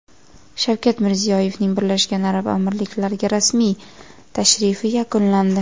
Shavkat Mirziyoyevning Birlashgan Arab Amirliklariga rasmiy tashrifi yakunlandi.